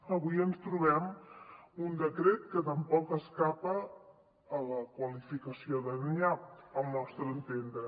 avui ens trobem un decret que tampoc escapa a la qualificació de nyap al nostre entendre